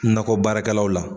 Nakɔ baarakɛlaw la